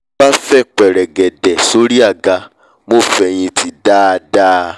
mo bá fẹ̀ pẹrẹgẹdẹ sórí àga mo fẹ̀hìntì dáadáa